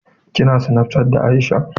Ki na snapchatting da Aisha?